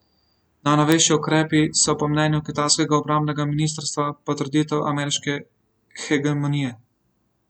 Najnovejši ukrepi so po mnenju kitajskega obrambnega ministrstva potrditev ameriške hegemonije.